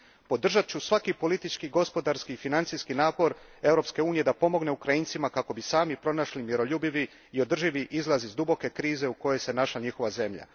Podržat ću svaki politički, gospodarski i financijski napor Europske unije da pomogne Ukrajincima kako bi sami pronašli miroljubivi i održivi izlaz iz duboke krize u kojoj se našla njihova zemlja.